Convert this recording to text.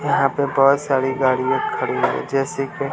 यहां पे बहुत सारी गाड़ियां खड़ी हुई हैं जैसे कि--